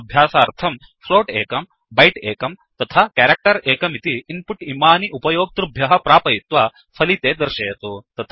स्वाभ्य़ासार्थं float एकं byte एकं तथा कैरेक्टर् एकमिति इन्पुट् इमानि उपयोक्तृभ्यः प्रापयित्वा पलिते दर्शयतु